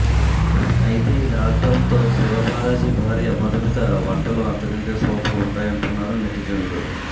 అయితే ఈ లాక్ డౌన్తో శివబాలాజీ భార్య మధుమిత వంటలు అంతకంటే సూపర్ ఉంటాయంటున్నారు నెటిజన్లు